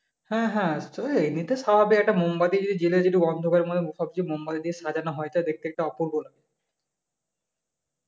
হ্যা হ্যা তো এমনিতে স্বাভাবিক একটা মোমবাতি যদি জ্বেলে দি একটু অন্ধকারের মাঝে মোমবাতি দিয়ে সাজানো হয় তায় দেখতে অপূর্ব লাগে